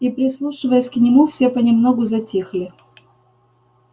и прислушиваясь к нему все понемногу затихли